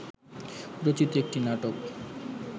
রচিত একটি নাটক